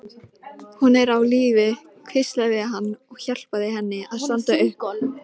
Hún er á lífi, hvíslaði hann og hjálpaði henni að standa upp.